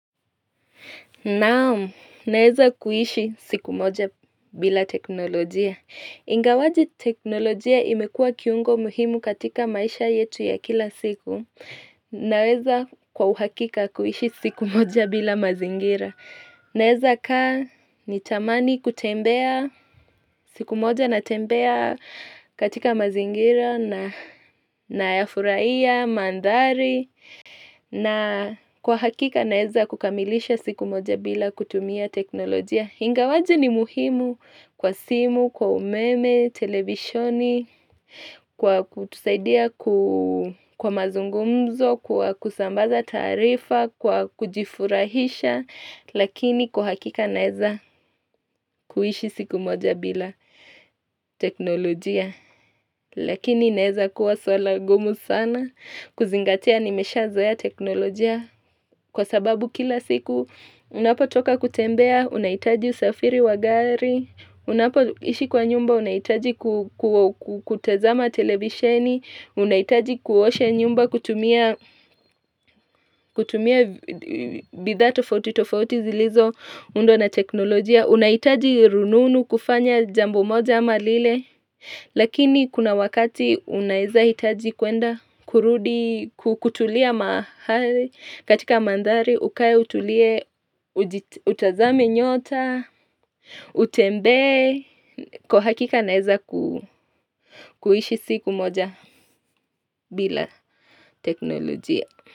Naam, naeza kuishi siku moja bila teknolojia. Ingawaje, teknolojia imekua kiungo muhimu katika maisha yetu ya kila siku. Naeza kwa uhakika kuishi siku moja bila mazingira. Naeza kaa nitamani kutembea siku moja natembea katika mazingira na nayafurahiya mandhari na kwa hakika naeza kukamilisha siku moja bila kutumia teknolojia ingawaje ni muhimu kwa simu, kwa umeme, televisioni Kwa kutusaidia kwa mazungumzo, kwa kusambaza taarifa, kwa kujifurahisha Lakini kwa hakika naeza kuishi siku moja bila teknolojia Lakini inaeza kuwa swala ngumu sana kuzingatia nimeshazoea teknolojia kwa sababu kila siku, unapotoka kutembea unahitaji usafiri wa gari unapoishi kwa nyumba unahitaji kutazama televisheni unahitaji kuosha nyumba kutumia kutumia bidhaa tofauti tofauti zilizoundwa na teknolojia. Unahitaji rununu kufanya jambo moja ama lile Lakini kuna wakati unaeza hitaji kuenda kurudi, kutulia mahali katika mandhari, ukae utulie, utazame nyota Utembee, kwa hakika naeza kuishi siku moja bila teknolojia.